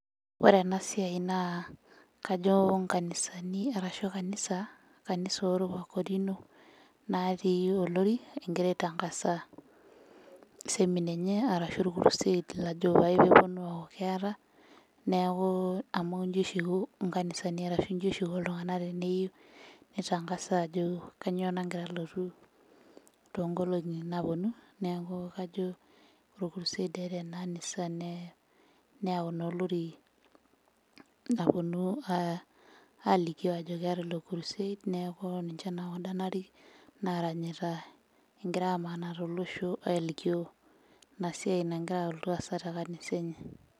Ore ena siai naa kajo inkanisani arashu kanisa, kanisa orwakorino natii olori engira aitangasa seminar enye arashu orkurused lajo pae peponu aaku keeta neeku amu inji oshi iko inkanisani arashu inji oshi iko iltung'anak teneyieu nitangasa ajo kanyio nangira alotu tonkolong'i naponu neaku kajo orkurused eeta ena anisa ne neyau naa olori naponu uh alikio ajo keeta naa ilo kurused neeku ninche naa kunda narik naranyita engira amanaa tolosho alikio ina siai nagira alotu aasa te kanisa enye.